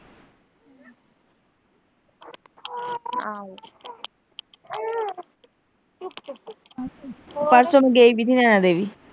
ਪਰਸੋਂ ਨੂੰ ਗਈ